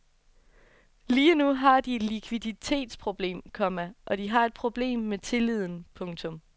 Lige nu har de et likviditetsproblem, komma og de har et problem med tilliden. punktum